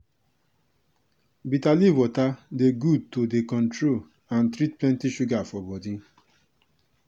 bitter leaf water dey good to dey control and treat plenty sugar for body.